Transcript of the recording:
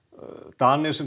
Danir sem